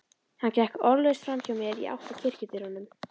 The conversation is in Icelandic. Hann gekk orðalaust framhjá mér í átt að kirkjudyrunum.